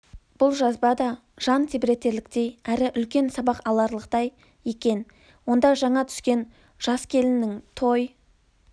бұл жазба да жан тебіретерліктей әрі үлкен сабақ аларлықтай екен онда жаңа түскен жас келіннің той